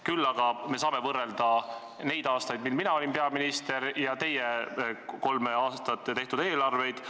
Küll aga saame võrrelda neid aastaid, mil mina olin peaminister, ja teie kolme aasta tehtud eelarveid.